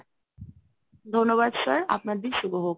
ধন্যবাদ sir আপনার দিন শুভ হোক।